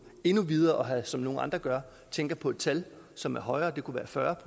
endnu videre som nogle andre gør jeg tænker på et tal som er højere det kunne være fyrre